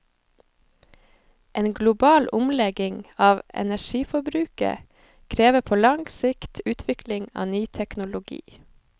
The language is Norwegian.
En global omlegging av energiforbruket krever på lang sikt utvikling av ny teknologi.